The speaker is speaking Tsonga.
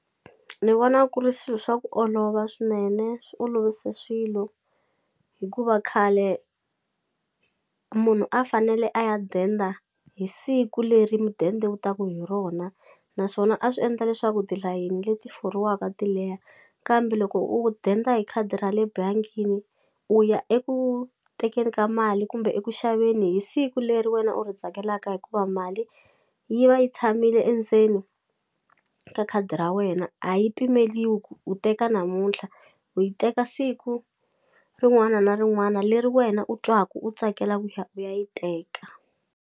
Ni vona ku ri swilo swa ku olova swinene swi olovise swilo hikuva khale munhu a fanele a ya denda hi siku leri mudende wu taku hi rona naswona a swi endla leswaku tilayeni leti foriwaka ti leha kambe loko u denda hi khadi ra le bangini u ya eku tekeni ka mali kumbe eku xaveni hi siku leri wena u ri tsakelaka hikuva mali yi va yi tshamile endzeni ka khadi ra wena a yi pimeliwi ku u teka namuntlha u yi teka siku rin'wana na rin'wana leri wena u twaku u tsakela ku ya u ya yi teka.